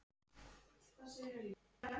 En við yrðum að reyna.